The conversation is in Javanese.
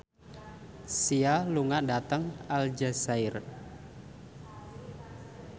Sia lunga dhateng Aljazair